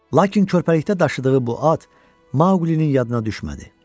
Lakin körpəlikdə daşıdığı bu at Maqulinin yadına düşmədi.